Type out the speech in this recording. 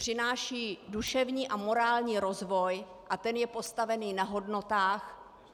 Přináší duševní a morální rozvoj a ten je postavený na hodnotách.